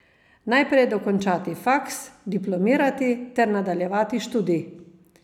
Najprej dokončati faks, diplomirati ter nadaljevati študij.